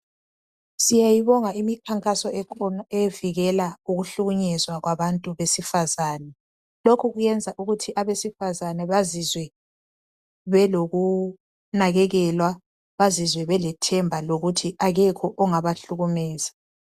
Siyayibonga imikhankaso ekhona evikela ukuhlukunyezwa kwabantu besifazane lokhu kwenza ukuthi abesifazane belokunakekelwa bazizwe belethemba lokuthi akekho ongabahlukumeza.